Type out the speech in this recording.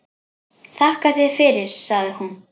Þakka þér fyrir, sagði hún.